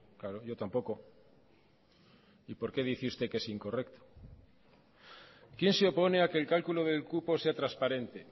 claro yo tampoco y por qué dice que usted que es incorrecto quién se opone a que el cálculo del cupo sea transparente